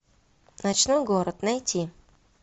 ночной город найти